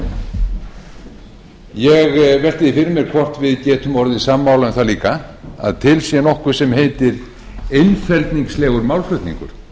þingmanninum ég velti því fyrir mér hvort við getum orðið sammála um það líka að til sé nokkuð sem heitir einfeldningslegur málflutningur